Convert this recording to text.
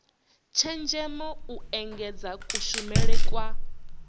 tshenzhemo u engedza kushumele kwa